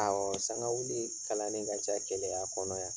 sangawili kalani ka ca Keleya kɔnɔ yan.